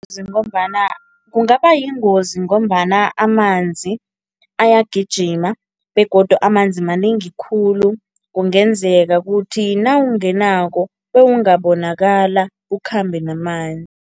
Ngombana kungaba yingozi ngombana amanzi ayagijima begodu amanzi manengi khulu, kungenzeka kuthi nawungenako bewungabonakala, ukhambe namanzi.